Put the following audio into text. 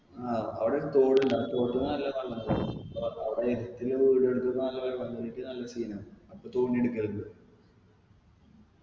ആ അവിടൊരു തോടുണ്ട് ആ തോട്ടില് നല്ല വെള്ളം കേറീന് അവിടെ വീടെടുക്ക് നല്ല വെള്ളം കേറീട്ട് നല്ല scene ആന്ന് അപ്പൊ തോണി എടുക്കലിണ്ട്